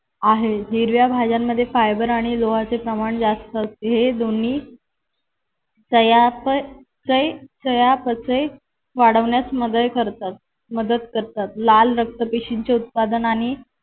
आहे हिरव्या भाज्यांमध्ये फायबर आणि लोहाचे प्रमाण जास्त असते. हे दोन्ही चयापचय चयापचय वाढवण्यास मदत करतात. मदत करतात. लाल रक्त पिशवीचे उत्पादन आणि